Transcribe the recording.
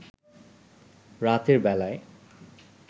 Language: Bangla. রাতের বেলায়